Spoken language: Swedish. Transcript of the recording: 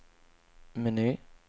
meny